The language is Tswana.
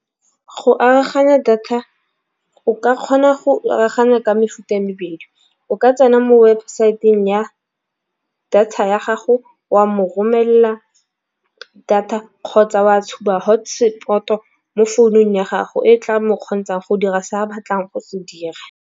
Go aroganya data o ka kgona go aroganya ka mefuta e mebedi. O ka tsena mo webosaeteng ya data ya gago wa mo romelela data, kgotsa wa tshuba hotspot-o mo founung ya gago e tla mo kgontšhang go dira se a batlang go se dira.